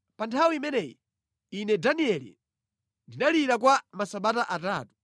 Pa nthawi imeneyi, ine Danieli ndinalira kwa masabata atatu.